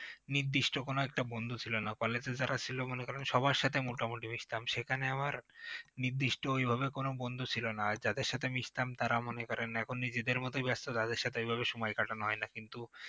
নির্দিষ্ট কোন একটা বন্ধু ছিল না college এ যারা ছিল মনে করেন সবার সাথে মোটামুটি মিশতাম সেখানে আমার নির্দিষ্ট এভাবে কোন বন্ধু ছিল না আর যাদের সাথে মিশতাম তারা মনে করেন এখন নিজেদের মতোই ব্যস্ত এখন তাদের সাথে ঐভাবে সময় কাটানো হয় না কিন্তু